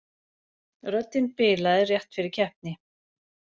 Röddin bilaði rétt fyrir keppni